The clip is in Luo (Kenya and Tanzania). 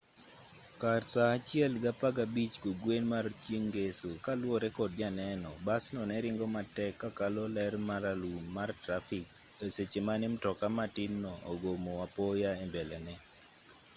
kar saa 1:15 kokgwen mar chieng' ngeso kaluwore kod janeno basno ne ringo matek ka kalo ler maralum mar trafik e seche mane mtoka matinno ogomo apoya e mbelene